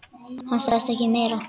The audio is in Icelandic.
Hann sagði ekki meira.